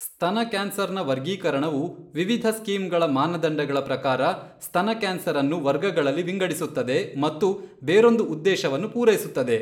ಸ್ತನ ಕ್ಯಾನ್ಸರ್ನ ವರ್ಗೀಕರಣವು ವಿವಿಧ ಸ್ಕೀಂಗಳ ಮಾನದಂಡಗಳ ಪ್ರಕಾರ ಸ್ತನ ಕ್ಯಾನ್ಸರ್ ಅನ್ನು ವರ್ಗಗಳಲ್ಲಿ ವಿಂಗಡಿಸುತ್ತದೆ ಮತ್ತು ಬೇರೊಂದು ಉದ್ದೇಶವನ್ನು ಪೂರೈಸುತ್ತದೆ.